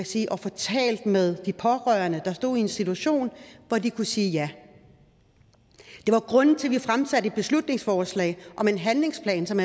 sige at få talt med de pårørende der stod i en situation hvor de kunne sige ja det var grunden til at vi fremsatte et beslutningsforslag om en handlingsplan som